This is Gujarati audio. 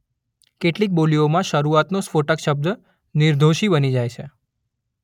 કેટલીક બોલીઓમાં શરૂઆતનો સ્ફોટક શબ્દ નિર્ઘોષી બની જાય છે.